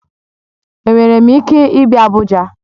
Enwere m ike ịbịa Abuja?